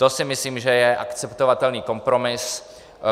To si myslím, že je akceptovatelný kompromis.